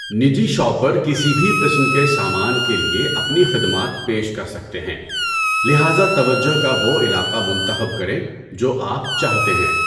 نجی شاپر کسی بھی قسم کے سامان کے لیے اپنی خدمات پیش کر سکتے ہیں، لہٰذا توجہ کا وہ علاقہ منتخب کریں جو آپ چاہتے ہیں۔